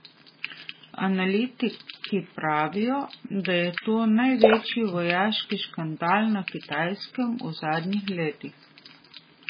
Analitiki pravijo, da je to največji vojaški škandal na Kitajskem v zadnjih letih.